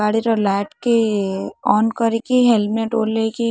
ଗାଡିର ଲାଇଟ କି ଅନ୍ କରିକି ହେଲମେଟ୍ ଓହ୍ଲେଇକି--